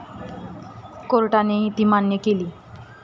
कोर्टानेही ती मान्य केली.